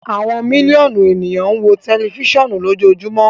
Awọn miliọnu eniyan n wo tẹlifisiọnu lojoojumọ